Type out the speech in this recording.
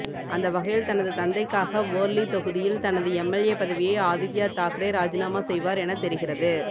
அந்த வகையில் தனது தந்தைக்காக வோர்லி தொகுதியில் தனது எம்எல்ஏ பதவியை ஆதித்யா தாக்கரே ராஜினாமா செய்வார் எனத்தெரிகிறது